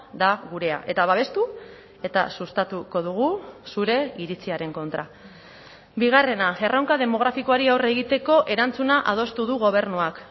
da gurea eta babestu eta sustatuko dugu zure iritziaren kontra bigarrena erronka demografikoari aurre egiteko erantzuna adostu du gobernuak